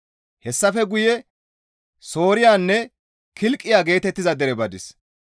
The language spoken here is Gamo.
Hessafe guye Sooriyanne Kilqiya geetettiza dere badis.